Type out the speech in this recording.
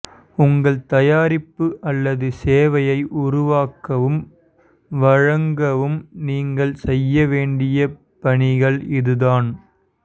உங்கள் தயாரிப்பு அல்லது சேவையை உருவாக்கவும் வழங்கவும் நீங்கள் செய்ய வேண்டிய பணிகள் இதுதான்